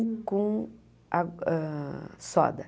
Com á hã soda.